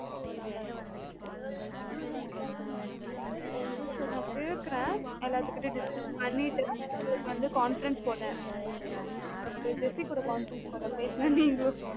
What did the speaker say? okay sir நான் கேக்குறேன். எல்லாத்துகிட்டயும் discuss பண்ணிட்டுஉங்க உங்களுக்கு வந்த conference போடுறேன் jessy கூ conference போடுறேன். பேசுங்க நீங்களும் அவ நல்லா இது பண்ணிட்டு இருக்கா